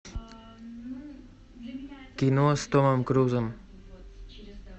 кино с томом крузом